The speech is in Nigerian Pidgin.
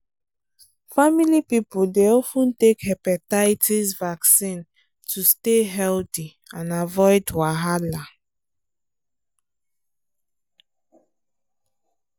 family people dey of ten take hepatitis vaccine to stay healthy and avoid wahala